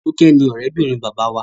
Toke ní òré bìrìn Bàbá wá.